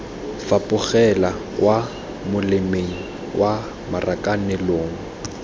fapogela kwa molemeng kwa marakanelong